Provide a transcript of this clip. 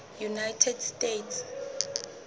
united states